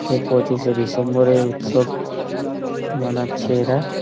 সেই পঁচিশে ডিসেম্বর -এর উৎসব মানাচ্ছে এরা।